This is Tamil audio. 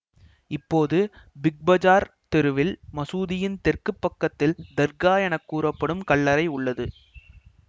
இப்போது பிக் பஜார் தெருவில் மசூதியின் தெற்கு பக்கத்தில் தர்கா என கூறப்படும் கல்லறை உள்ளது